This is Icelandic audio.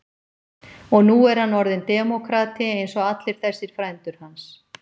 Og nú er hann orðinn demókrati eins og allir þessir frændur hans.